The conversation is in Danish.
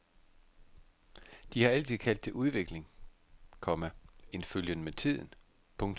De har altid kaldt det udvikling, komma en følgen med tiden. punktum